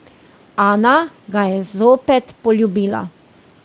Ana ga je zopet poljubila.